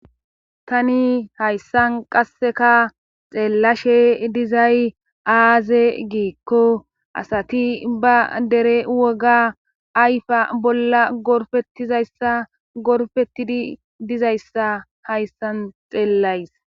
Tani hayssan qasseka xeellashe dizay aaze giikko asati ba dere woga ayfa bolla gorfetizayssa gorfettidi dizayssa hayssan xeellays.